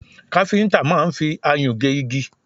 Káfíntà máà ń fi ayùn gé igi